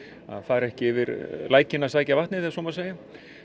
að fara ekki yfir lækinn að sækja vatnið ef svo má segja